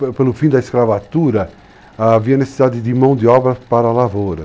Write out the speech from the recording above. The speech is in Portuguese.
Naquela ocasião, pelo pelo fim da escravatura, havia necessidade de mão de obra para a lavoura.